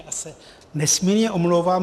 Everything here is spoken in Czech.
Já se nesmírně omlouvám.